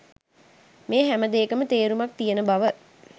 මේ හැමදේකම තේරුමක් තියෙන බව